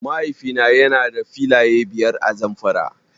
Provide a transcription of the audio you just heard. Mahaifi na yana da filaye biyar a Zamfara.